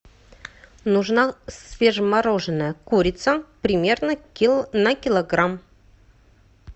нужна свежемороженная курица примерно на килограмм